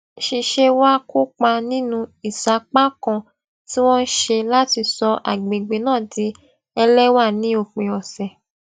ṣiṣé wá kópa nínú ìsapá kan tí wón ṣe láti sọ àgbègbè náà di ẹléwà ní òpin òsè